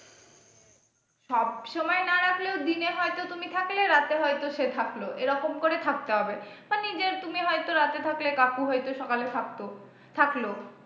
সবসময় না রাখলেও দিনে হয়ত তুমি থাকলে রাতে হয়ত সে থাকলো এরকম করে থাকতে হবে বা নিজে তুমি হয়তো রাতে থাকলে কাকু হয়তো সকালে থাকতো থাকলো।